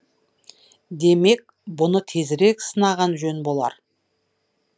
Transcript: демек бұны тезірек сынаған жөн болар